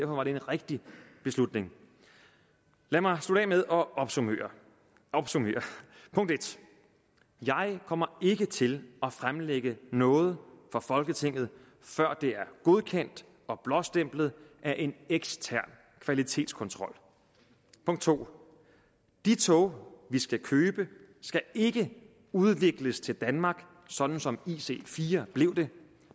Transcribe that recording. var det en rigtig beslutning lad mig slutte af med at opsummere punkt 1 jeg kommer ikke til at fremlægge noget for folketinget før det er godkendt og blåstemplet af en ekstern kvalitetskontrol punkt 2 de tog vi skal købe skal ikke udvikles til danmark sådan som ic4 blev det